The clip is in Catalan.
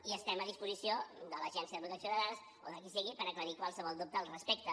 i estem a disposició de l’agència de protecció de dades o de qui sigui per aclarir qualsevol dubte al respecte